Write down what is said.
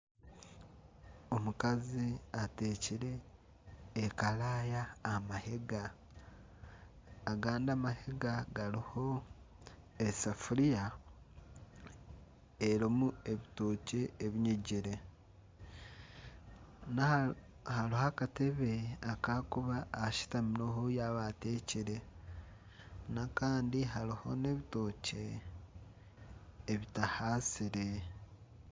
Omukazi ateekire ekaraaya aha mahega, agandi amahega gariho esafuriya erimu ebitookye ebinyigire. Hariho akatebe aku arikuba ashutamireho yaba ateekire n'akandi hariho n'ebitookye ebitahaasire.